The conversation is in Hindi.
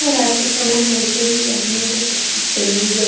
और रात के समय मे ऐसे भी आदमी को सब चीज सही ही लगता है ।